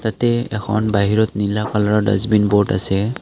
ইয়াতে এখন বাহিৰত নীলা কালাৰৰ ডাষ্টবিন বোৰ্ড আছে।